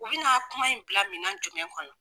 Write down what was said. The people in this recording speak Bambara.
U bina kuma in bila minɛn jumɛn kɔnɔ.